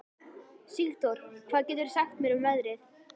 Sigdór, hvað geturðu sagt mér um veðrið?